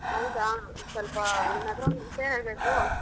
ಹೌದಾ ಸೊಲ್ಪ ನಿನ್ ಹತ್ರ ಒಂದ್ ವಿಷ್ಯ ಹೇಳ್ಬೇಕು.